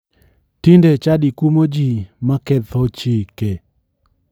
Tinde chadi kumo ji maketho chike.